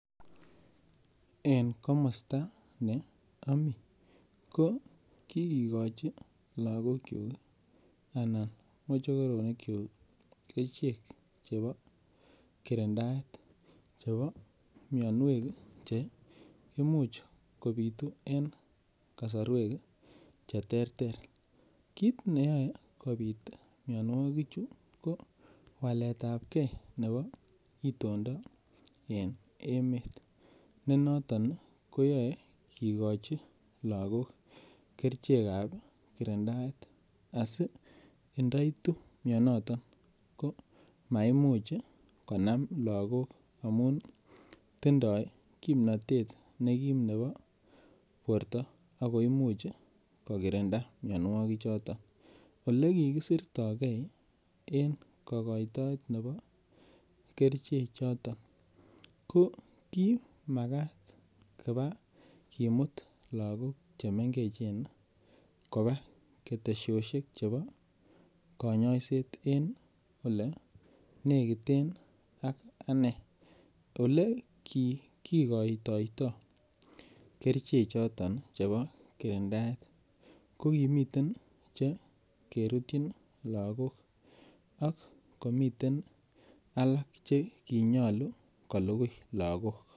En komosta ne ami ko kikikochi laakyuk anan mochokoronikyuk kerichek chebo kirindaet chebo mianwek che imuch kobitu en kasorwek cheterter kit neyoe kobit mianwokichu ko waletab ke nebo itondab emet nenot ii koyoe kikochi lakok kerichekab kirindaet asi ndoitu mianato komaimuch konam lakok amun tindoi kimnotet nekim ne bo borto ako imuch kokirinda mianwoki choton ole kikisirtoke en kokoitoet ne bo keriche choton kokimakat kona kimut lakok chemengechen kopaa ketesosiek chebo kanyaiset en ole nekiten ak anee ole kikikoitoito keriche choto che bo kirindaet ko kimiten chekerutyin lakok ak komiten alak chekinyolu kolukui lakok.